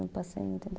Eu passei em oitenta e